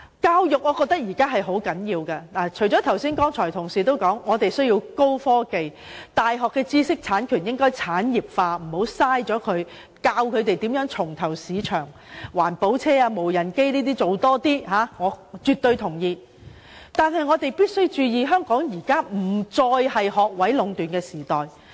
教育是非常重要的，除了剛才同事所說的高科技發展、大學知識產權產業化、教導年青人如何重投市場，例如開發環保車輛、無人飛機，我們也必須注意香港現時已再非學位壟斷的時代。